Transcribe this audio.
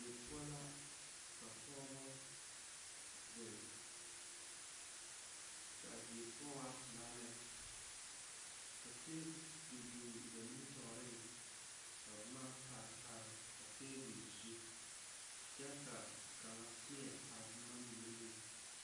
Die poɔ la ka pɔgeba zeŋ, kaa die poɔ waa pelaa lɛ ka tabol biŋ ba nimitɔreŋ ka boma pare pare a tabol zu kyɛ ka kaŋa teɛ a boma mine meŋ